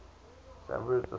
san pedro sula